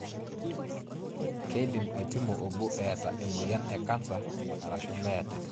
Keidim aipimo obo eeta emoyian e cancer arashuu meeta.